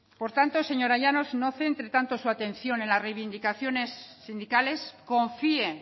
por tanto señora llanos no centre tanto su atención en las reivindicaciones sindicales confíe